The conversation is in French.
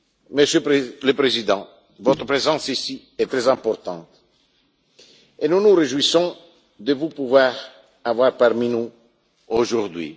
Monsieur le Président, votre présence ici est très importante et nous nous réjouissons de vous compter parmi nous, aujourd'hui.